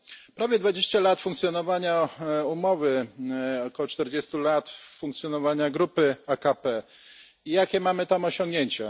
Prawie dwadzieścia lat funkcjonowania umowy, około czterdziestu lat funkcjonowania grupy AKP i jakie mamy tam osiągnięcia?